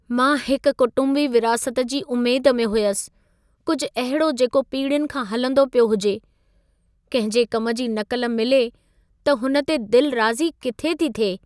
मां हिकु कुटुंबी विरासत जी उमेद में हुयसि, कुझु अहिड़ो जेको पीढ़ियुनि खां हलंदो पियो हुजे। किंहिं जे कम जी नक़ल मिले त हुन ते दिलि राज़ी किथे थी थिए!